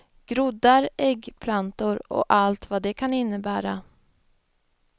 Groddar, äggplantor och allt vad det kan innebära.